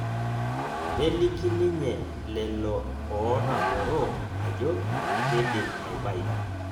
Neliki ninye leleo ootamoro ajo kedim aibayu